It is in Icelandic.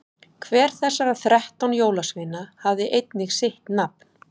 hver þessara þrettán jólasveina hafði einnig sitt nafn